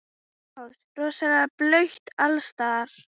Magnús: Rosalega blautt alls staðar?